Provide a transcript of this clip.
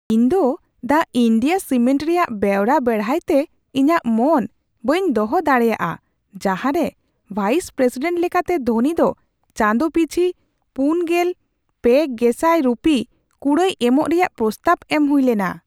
ᱤᱧ ᱫᱚ ᱫᱟ ᱤᱱᱰᱤᱭᱟ ᱥᱤᱢᱮᱱᱴ ᱨᱮᱭᱟᱜ ᱵᱮᱣᱨᱟ ᱵᱮᱲᱦᱟᱭᱛᱮ ᱤᱧᱟᱹᱜ ᱢᱚᱱ ᱵᱟᱹᱧ ᱫᱚᱦᱚ ᱫᱟᱲᱮᱭᱟᱜᱼᱟ ᱡᱟᱦᱟᱸᱨᱮ ᱵᱷᱟᱭᱤᱥᱼᱯᱨᱮᱥᱤᱰᱮᱱᱴ ᱞᱮᱠᱟᱛᱮ ᱫᱷᱳᱱᱤ ᱫᱚ ᱪᱟᱸᱫᱚ ᱯᱤᱪᱷᱤ ᱔᱓,᱐᱐᱐ ᱨᱩᱯᱤ ᱠᱩᱲᱟᱹᱭ ᱮᱢᱚᱜ ᱨᱮᱭᱟᱜ ᱯᱨᱚᱥᱛᱟᱵᱽ ᱮᱢ ᱦᱩᱭ ᱞᱮᱱᱟ ᱾